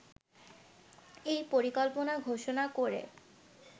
এই পরিকল্পনা ঘোষণা করে